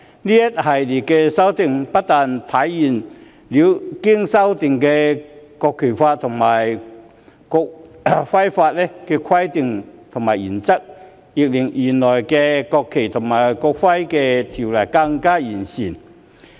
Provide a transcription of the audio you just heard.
這一系列的修訂，不但體現了經修正的《國旗法》和《國徽法》的規定和原則，亦令原來的《國旗及國徽條例》更完善。